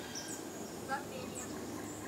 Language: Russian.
задверье